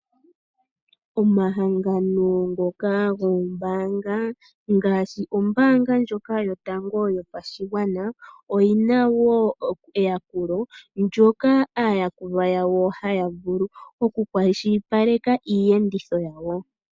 Omahangano ngoka goombaanga ngaashi ombaanga ndjoka yotango yopashigwana, oyi na wo eyakulo ndyoka aayakulwa yawo haya vulu oku kwashilipaleka iiyenditho yawo.